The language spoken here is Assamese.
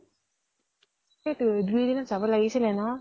সেইটোয়ে, দুই এদিনত যাম লাগিছিলে ন